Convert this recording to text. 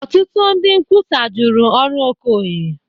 Ọtụtụ ndị nkwusa jụrụ ọrụ Okoye